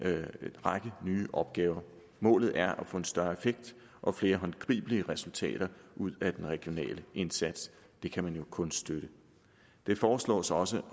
række nye opgaver målet er at få en større effekt og flere håndgribelige resultater ud af den regionale indsats det kan man jo kun støtte det foreslås også